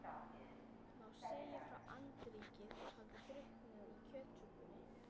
Má segja að andríkið hafi drukknað í kjötsúpunni.